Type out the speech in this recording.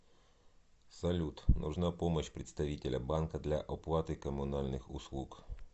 салют нужна помощь представителя банка для оплаты коммунальных услуг